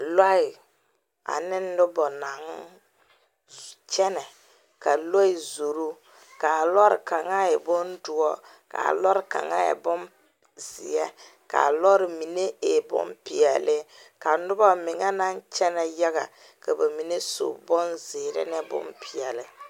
Lɔɛ ane noba naŋ kyɛnɛ ka lɔɛ zoro kaa lɔɔre kaŋa e bondoɔre ka a lɔɔre kaŋa e bonzeɛ ka a lɔɔre mine e bonpeɛlle ka noba meŋɛ naŋ kyɛnɛ yaga ka ba mine su bonzeere ne bonpeɛlle.